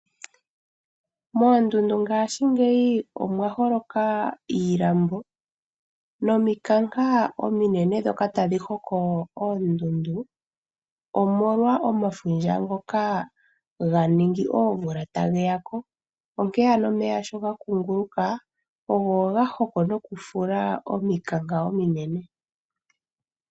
Moondundu ngaashingeyi omwa holoka iilambo nomikanka ominene ndhoka tadhi hoko oondundu, omolwa omafundja ngoka ga ningi oomvula tage ya ko. Onkene ano omeya shi ga kunguluka, ogo ga hoko nokufula omikanka ominene.